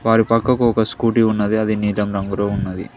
వారి పక్కకు ఒక స్కూటి ఉన్నది అది నీలం రంగులో ఉన్నది.